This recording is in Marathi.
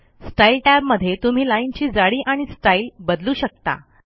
स्टाईल टॅबमध्ये तुम्ही लाईनची जाडी आणि स्टाईल बदलू शकता